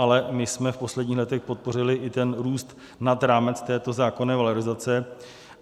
Ale my jsme v posledních letech podpořili i ten růst nad rámec této zákonné valorizace.